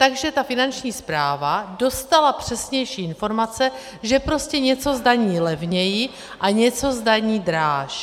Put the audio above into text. Takže ta Finanční správa dostala přesnější informace, že prostě něco zdaní levněji a něco zdaní dráž.